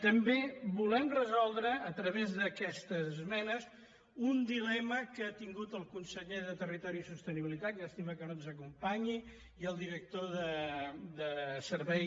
també volem resoldre a través d’aquestes esmenes un dilema que han tingut el conseller de territori i sostenibilitat llàstima que no ens acompanyi i el director de servei